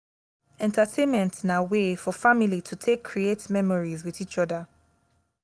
entertainment na way for family to take create memories with each oda